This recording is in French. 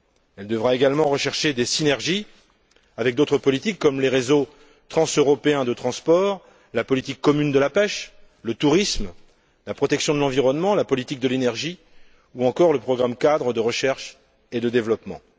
Elle devra également rechercher des synergies avec d'autres politiques comme les réseaux transeuropéens de transport, la politique commune de la pêche, le tourisme, la protection de l'environnement, la politique de l'énergie, ou encore le programme cadre de recherche et de développement.